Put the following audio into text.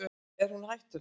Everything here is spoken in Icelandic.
Er hún hættuleg?